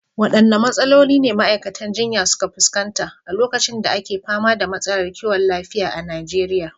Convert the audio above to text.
Waɗanne matsaloli ne ma’aikatan jinya suka fuskanta a lokacin da ake fama da matsalar kiwon lafiya a Najeriya?